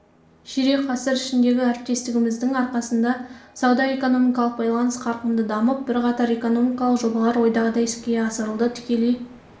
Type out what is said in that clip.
ширек ғасыр ішіндегі әріптестігіміздің арқасында сауда-экономикалық байланыс қарқынды дамып бірқатар экономикалық жобалар ойдағыдай іске асырылды тікелей